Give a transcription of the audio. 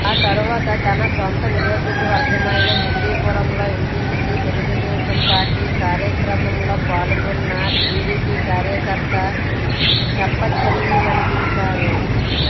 ఆ తర్వాత తన సొంతనియోజకవర్గమైన హిందూపురంలో ఇంటింటికి తెలుగుదేశం పార్టీ కార్యక్రమంలో పాల్గొన్న టీడీపీ కార్యకర్త చెంపచెళ్లు మనిపించారు